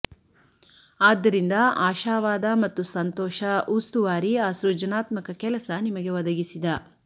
ಆದ್ದರಿಂದ ಆಶಾವಾದ ಮತ್ತು ಸಂತೋಷ ಉಸ್ತುವಾರಿ ಆ ಸೃಜನಾತ್ಮಕ ಕೆಲಸ ನಿಮಗೆ ಒದಗಿಸಿದ